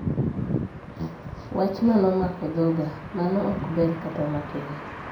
Wachno nomako dhoga'Mano ok ber kata matini.'